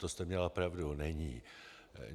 To jste měla pravdu, není.